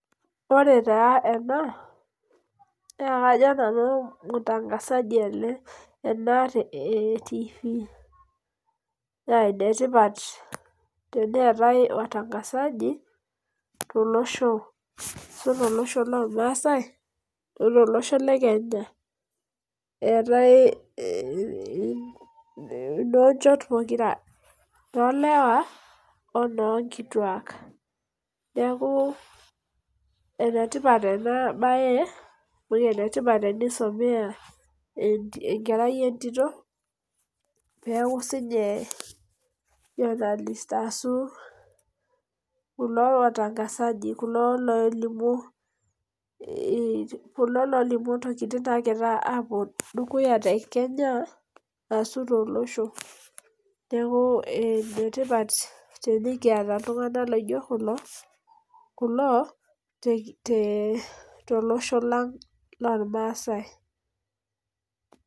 Ore taa enaa naa kajo nanu mtangazaji ena, eh tv. Naa enetipat teneetae watangazaji tolosho ashu to losho lormasae otolosho le Kenya . Eetae noo njot pookira lolewa onokituak. Neaku enetipat ena bae amu, enetipat enisomea enkerai etito peeku sininye journalist ashu kulo watangazaji kulo lolimu ikulo lolimu intokitin nagira apuo dukuya te Kenya ashu, to losho. Neaku enetipat tenikiata iltunganak laijo kulo te losho lang lormasae.